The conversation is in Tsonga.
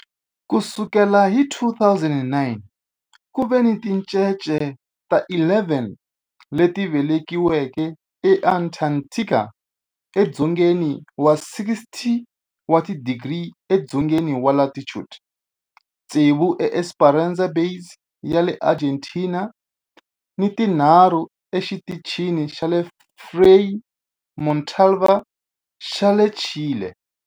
Ku sukela hi 2009, ku ve ni tincece ta 11 leti velekiweke eAntarctica, edzongeni wa 60 wa tidigri edzongeni wa latitude, tsevu eEsperanza Base ya le Argentina ni tinharhu eXitichini xa Frei Montalva xa le Chile.